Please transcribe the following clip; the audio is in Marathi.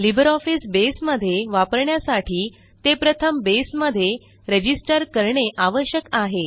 लिब्रिऑफिस बसे मध्ये वापरण्यासाठी ते प्रथम बेसमध्ये रजिस्टर करणे आवश्यक आहे